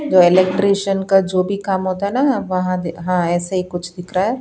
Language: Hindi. तो इलेक्ट्रिशियन का जो भी काम होता है ना वहाँ हाँ ऐसे ही कुछ दिख रहा है।